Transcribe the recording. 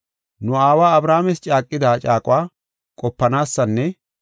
Nu aawa Abrahaames caaqida caaquwa qopanaasinne